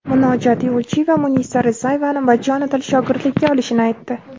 Munojot Yo‘lchiyeva Munisa Rizayevani bajonidil shogirdlikka olishini aytdi.